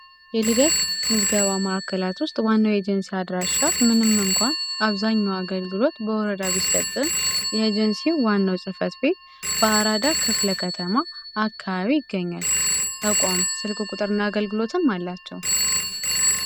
የልደት ምዝገባ ማዕከላት ውስጥ ዋና ኤጀንሲ አድራሻ ምንም እንኳን አብዛኛው አገልግሎት በወረዳ ቢሰጥም ኤጀንሲ ዋናው ጽህፈት ቤት በአራዳ ክፍለ ከተማ አካባቢ ይገኛል። ተቋሙ ስልክ ቁጥርና አገልግሎትም አላቸው።